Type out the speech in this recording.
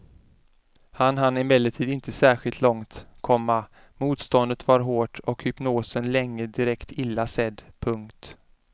Han hann emellertid inte särskilt långt, komma motståndet var hårt och hypnosen länge direkt illa sedd. punkt